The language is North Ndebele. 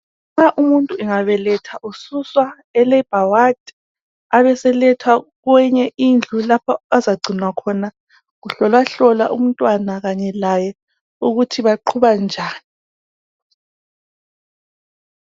Nxa umuntu angabeletha ususwa kulabha wadi, abe selethwa kweinye indku lapho azagcinwa khona. Kuhlolwahlolwa umntwana kanye laye ukuthi baqhuba njani.